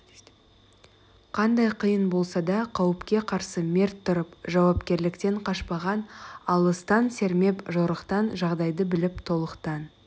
қандай қиын болса да қауіпке қарсы мерт тұрып жауапкерліктен қашпаған алыстан сермеп жорықтан жағдайды біліп толықтан